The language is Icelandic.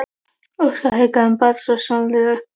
Óskar hikaði en bar svo sjónaukann upp að augunum.